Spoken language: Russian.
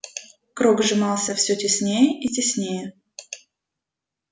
круг сжимался всё теснее и теснее